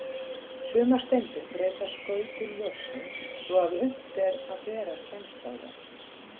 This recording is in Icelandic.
Sumar steindir breyta skautun ljóssins svo að unnt er að bera kennsl á þær.